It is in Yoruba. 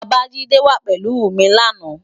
Babajide wá pélú mi làná